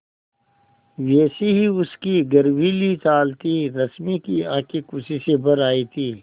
वैसी ही उसकी गर्वीली चाल थी रश्मि की आँखें खुशी से भर आई थीं